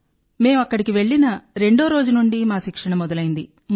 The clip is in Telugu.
మేం అక్కడికి వెళ్ళిన రెండో రోజు నుండి మా శిక్షణ మొదలైంది